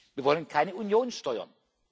Wir wollen keine Union